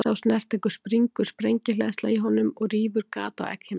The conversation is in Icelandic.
Við þá snertingu springur sprengihleðsla í honum og rýfur gat á egghimnuna.